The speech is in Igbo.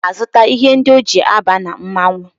Obi na-azụta ihe ndi o ji aba na mmanwụ